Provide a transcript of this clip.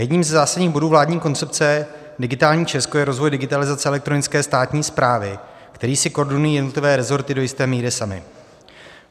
Jedním ze zásadních bodů vládní koncepce Digitální Česko je rozvoj digitalizace elektronické státní správy, který si koordinují jednotlivé resorty do jisté míry samy.